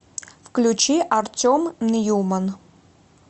включи артем ньюман